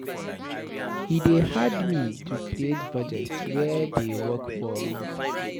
E dey hard me to create budget wey dey work for me.